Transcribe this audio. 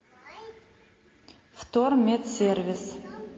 вторметсервис